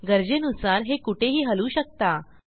गरजेनुसार हे कुठेही हलवू शकता